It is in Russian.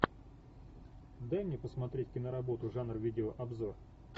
дай мне посмотреть киноработу жанр видеообзор